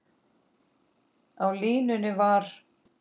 Á línunni var